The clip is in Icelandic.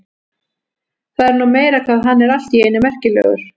Það er nú meira hvað hann er allt í einu merkilegur.